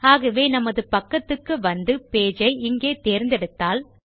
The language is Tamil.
ஆகவே நமது பக்கத்துக்கு வந்து பேஜ் ஐ இங்கே தேர்ந்தெடுத்தால்